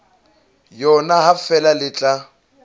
yona ha feela le tla